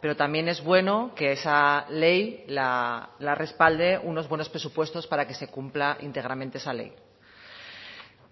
pero también es bueno que esa ley la respalde unos buenos presupuestos para que se cumpla íntegramente esa ley